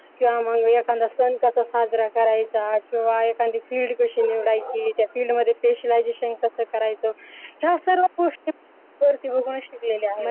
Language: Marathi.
किंवा मग एखादा सण कसा साजरा करायचा किंवा एखादी field कशी निवडायची त्या field मध्ये specialization कसं करायचं या सर्व गोष्टी वरती बघूनच शिकलेल आहे